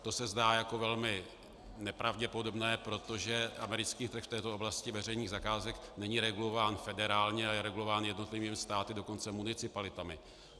To se zdá jako velmi nepravděpodobné, protože americký trh v této oblasti veřejných zakázek není regulován federálně, ale je regulován jednotlivými státy, dokonce municipalitami.